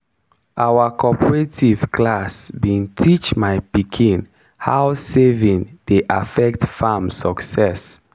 our cooperative class bin teach my pikin how saving dey affect farm success.